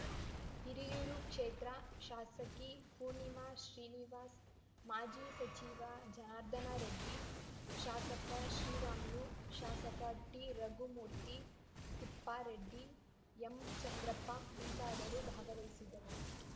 ಹಿರಿಯೂರು ಕ್ಷೇತ್ರ ಶಾಸಕಿ ಪೂರ್ಣಿಮಾ ಶ್ರೀನಿವಾಸ್‌ ಮಾಜಿ ಸಚಿವ ಜನಾರ್ಧನ ರೆಡ್ಡಿ ಶಾಸಕ ಶ್ರೀರಾಮುಲು ಶಾಸಕ ಟಿರಘುಮೂರ್ತಿ ತಿಪ್ಪಾರೆಡ್ಡಿ ಎಂಚಂದ್ರಪ್ಪ ಮುಂತಾದವರು ಭಾಗವಹಿಸುವರು